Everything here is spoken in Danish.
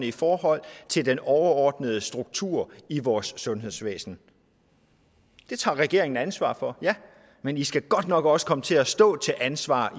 i forhold til den overordnede struktur i vores sundhedsvæsen det tager regeringen ansvar for ja men i skal godt nok også komme til at stå til ansvar